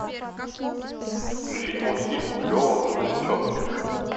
включить мультфильм лева грузовичок